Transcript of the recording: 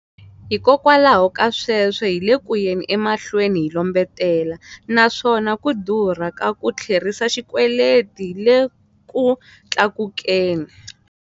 Hikwalaho ka sweswo, hi le ku yeni emahlweni hi lombetela, naswona ku durha ka ku tlherisa xikweleti le ku tlakukeni.